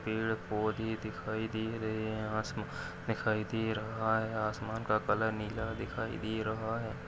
पेड़ पौधे दिखाई दे रहे है आसमान दिखाई दे रहा है आसमान का कलर नीला दिखाई दे रहा है।